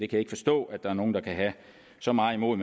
kan ikke forstå at der er nogen der kan have så meget imod